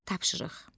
Tapşırıq.